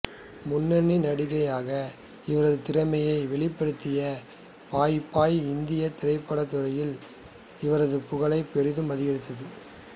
முன்னணி நடிகையாக இவரது திறமையை வெளிப்படுத்திய பாய் பாய் இந்திய திரைப்படத் துறையில் இவரது புகழை பெரிதும் அதிகரித்தது